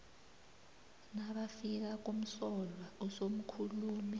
nabafika kumsolwa usomkhulumi